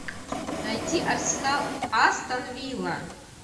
найти арсенал астон вилла